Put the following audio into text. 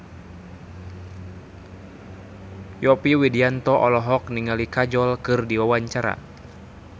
Yovie Widianto olohok ningali Kajol keur diwawancara